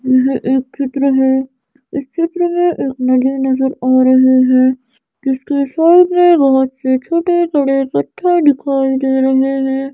यह एक चित्र है इस चित्र में एक नदी नजर आ रही है जिसके सामने बहुत से छोटे छोटे पत्थर दिखाई दे रहे हैं।